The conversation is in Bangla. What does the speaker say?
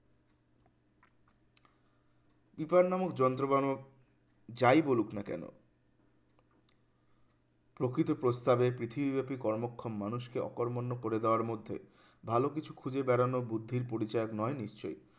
পিপ্র নামক যন্ত্র বানানো যাই বলুক না কেন প্রকৃত প্রস্তাবে পৃথিবীব্যাপী কর্মক্ষম মানুষকে অকরমণ্য করে দেওয়ার মধ্যে ভালো কিছু খুঁজে বেড়ানো বুদ্ধির পরিচায়ক নয় নিশ্চয়ই